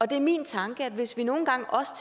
det er min tanke at hvis vi nogle gange også